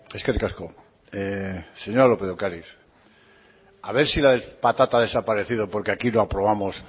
eskerrik asko señora lópez de ocariz a ver si la patata ha desaparecido porque aquí no aprobamos